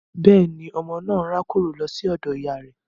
Bẹ́ẹ̀ni, ọmọ naa n rakoro lo si odo iya rẹ